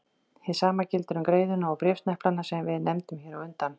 Hið sama gildir um greiðuna og bréfsneplana sem við nefndum hér á undan.